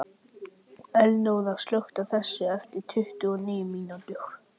Elinóra, slökktu á þessu eftir tuttugu og níu mínútur.